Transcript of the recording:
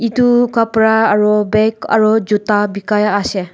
etu kapra aru bag aru juta bikai ase.